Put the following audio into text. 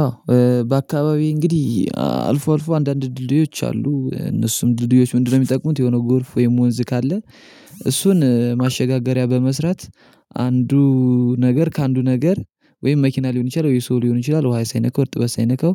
አዎ በአካባቢዬ እንግዲህ አልፎ አልፎ አንዳንድ ድልድዮች አሉ እነሱም ድልድዮች ምንድነው የሚጠቁሙት የሆነው ጎርፍ ወይም ወንዝ ካለ እሱን ማሸጋገሪያ በመስራት አንዱ ነገር ከአንዱ ነገር ወይም መኪና ሊሆን ይችላል ወይ ሰው ሊሆን ይችላል ውሃ ሳይነካ እርጥበት ሳይነካው